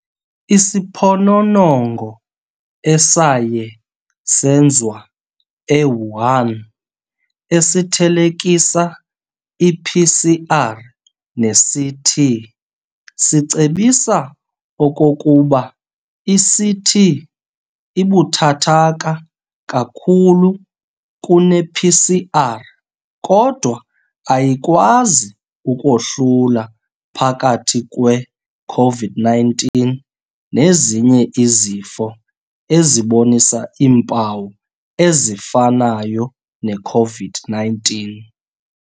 Isiphononongo esaye senzwa eWuhan esithelekisa iPCR neCT sicebisa okokuba iCT ibuthathaka kakhulu kunePCR kodwa ayikwazi ukohlula phakathi kwe-Covid 19 nezinye izifo ezibonisa iimpawu ezifanayo neCovid-19.